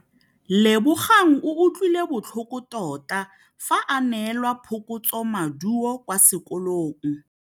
Lebogang o utlwile botlhoko tota fa a neelwa phokotsômaduô kwa sekolong.